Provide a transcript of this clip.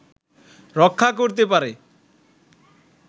রক্ষা করতে পারে